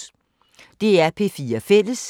DR P4 Fælles